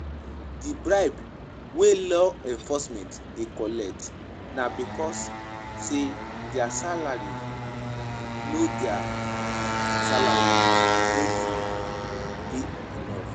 Di bribe wey law enforcement dey collect na because sey their salary no de dey enough